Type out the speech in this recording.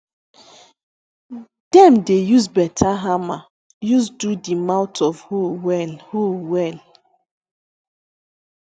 dem dey use beta hammer use do di mouth of hoe well hoe well